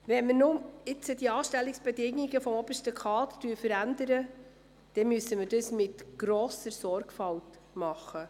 Wenn wir nun die Anstellungsbedingungen des obersten Kaders verändern, dann müssen wir das mit grosser Sorgfalt tun.